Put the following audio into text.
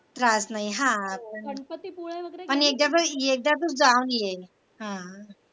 राहत नाही हा पण एकदा तरी तू जाऊन ये